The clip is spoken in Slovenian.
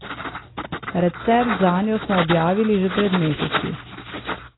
Recept zanjo smo objavili že pred meseci.